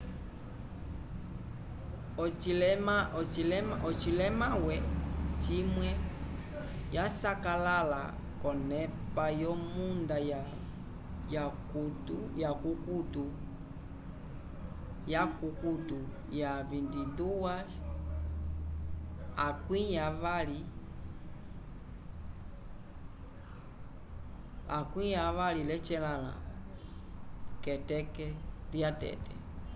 ocilemawe cimwe ya sakalala konepa yo munda ka kukuto ya 22:08 keteke lya tete